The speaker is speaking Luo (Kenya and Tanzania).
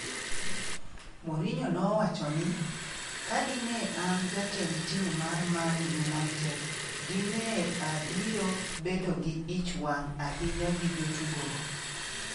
Mourinho nowacho ni, "Ka dine an jatend tim mar Man United, dine abiro bedo gi ich wang' ahinya gi jotugo go."